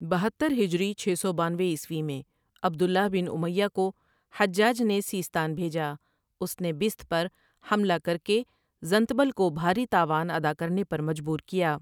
ٌٌٌبہتر ہجری چھ سو بانوے عیسوی میں عبد اللہ بن امیۃ کو حجاج نے سیستان بھیجا اس نے بست پر حملہ کر کے زنتبل کو بھاری تاوان ادا کرنے پر مجبور کیا۔